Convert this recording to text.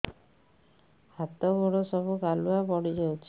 ହାତ ଗୋଡ ସବୁ କାଲୁଆ ପଡି ଯାଉଛି